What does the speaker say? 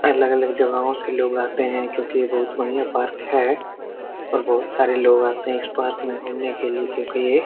अलग अलग जगाओ से लोग आते हैं क्योंकि ये बढ़िया पार्क है और बहुत सारे लोग आते हैं इस पार्क मे घूमने के लिए क्योंकि ये --